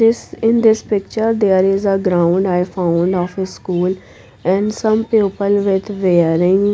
this in this picture there is a ground i found of school and some people with wearing --